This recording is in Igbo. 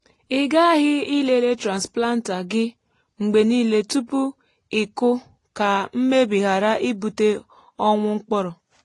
i ghaghị ilele transplanter gị mgbe niile tupu ịkụ ka mmebi ghara ibute ọnwụ mkpụrụ.